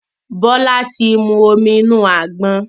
Bola tí mú omí inu àgbọn